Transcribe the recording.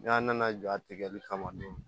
N'a nana jɔ a tigɛli kama